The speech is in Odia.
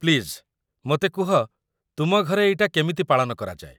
ପ୍ଲିଜ୍, ମୋତେ କୁହ, ତୁମ ଘରେ ଏଇଟା କେମିତି ପାଳନ କରାଯାଏ?